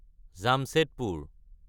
Jamshedpur